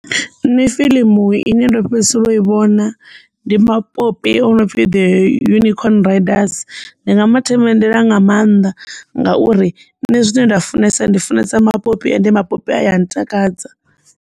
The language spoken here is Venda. Nṋe fiḽimu ine ndo fhedzisela u i vhona ndi mapopi a no pfhi the unicorn riders ndi nga ma themendela nga mannḓa ngauri nṋe zwine nda funesa ndi funesa mapopi ende mapopi a ya ntakadza.